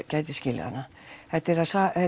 gæti skilið hana þetta er